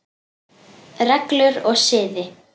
Reglur og siði